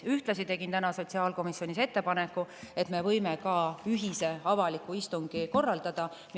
Ühtlasi tegin täna sotsiaalkomisjonis ettepaneku, et me võime ka ühise avaliku istungi korraldada.